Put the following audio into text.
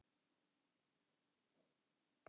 Vill auka tjáningarfrelsi